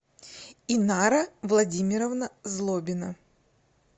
инара владимировна злобина